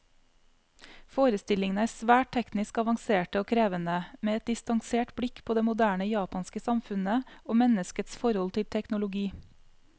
Forestillingene er svært teknisk avanserte og krevende, med et distansert blikk på det moderne japanske samfunnet, og menneskets forhold til teknologi.